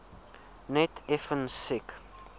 net effens siek